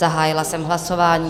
Zahájila jsem hlasování.